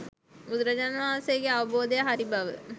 බුදුරජාණන් වහන්සේගේ අවබෝධය හරි බව